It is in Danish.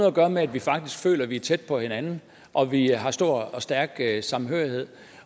at gøre med at vi faktisk føler vi er tæt på hinanden og at vi har en stor og stærk samhørighed